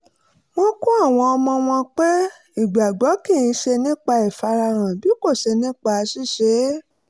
wọ́n kọ́ àwọn ọmọ wọn pé ìgbàgbọ́ kì í ṣe nípa ìfarahàn bí kò ṣe nípa ṣíṣe é